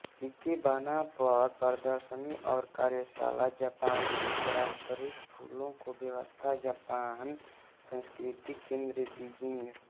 ikebana पर प्रदर्शनी और कार्यशाला जापानी पारंपरिक फूलों की व्यवस्था जापान संस्कृति केंद्र बीजिंग